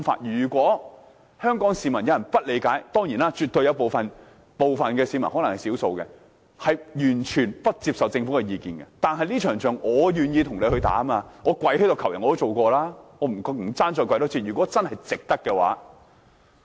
如果有香港市民不理解——當然，絕對有部分、可能是少數的市民完全不接受政府的意見，但這場仗我絕對願意跟官員一起打，即使跪地求人我也試過，不怕多跪一次，如果真是值得的話。